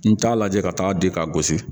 N t'a lajɛ ka taa di ka gosi